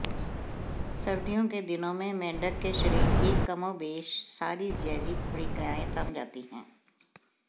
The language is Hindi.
सर्दियों के दिनों में मेंढक के शरीर की कमोबेश सारी जैविक प्रक्रियाएं थम जाती हैं